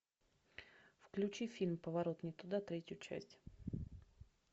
включи фильм поворот не туда третью часть